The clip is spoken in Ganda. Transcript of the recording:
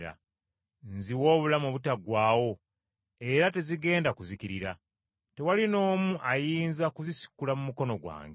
Nziwa obulamu obutaggwaawo, era tezigenda kuzikirira. Tewali n’omu ayinza kuzisikula mu mikono gyange,